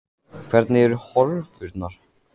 Hvernig eru horfurnar?